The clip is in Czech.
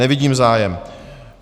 Nevidím zájem.